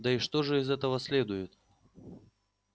да и что же из этого следует